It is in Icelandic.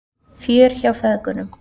Fjör hjá feðgunum